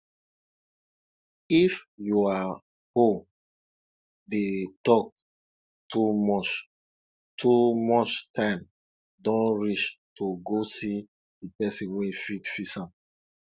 if yua hole dey talk too much too much time don reach to go see di person wey fit fix am